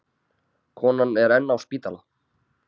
Konan er enn á spítala.